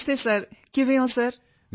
ਨਮਸਤੇ sir ਕਿਵੇਂ ਹੋ sir